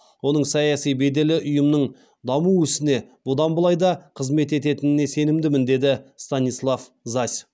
оның саяси беделі ұйымның даму ісіне бұдан былай да қызмет ететініне сенімдімін деді станислав зась